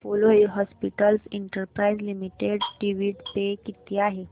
Apollo Hospitals Enterprise Limited dividend pay किती आहे